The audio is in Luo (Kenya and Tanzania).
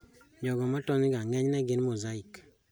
Jogo matony ga ng'enyne gin mosaic